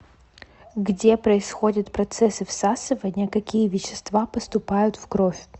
где происходят процессы всасывания какие вещества поступают в кровь